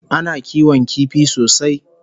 Ana kiwon kifi sosai